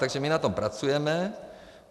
Takže my na tom pracujeme.